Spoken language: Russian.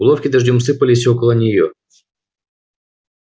булавки дождём сыпались около неё